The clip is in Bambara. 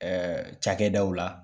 Ɛɛ cakɛdaw la